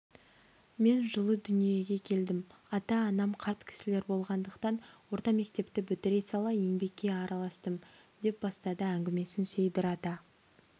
мен жылы дүниеге келдім ата-анам қарт кісілер болғандықтан орта мектепті бітіре сала еңбекке араластым деп бастады әңгімесін сейдір ата